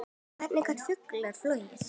Hvernig geta fuglar flogið?